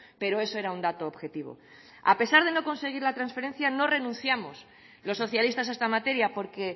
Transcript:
pero eso era un dato objetivo a pesar de no conseguir la trasferencia no renunciamos los socialistas a esta materia porque